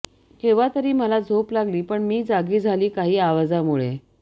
केव्हा तरी मला झोप लागली पण मी जागी झाली काही आवाजामुळे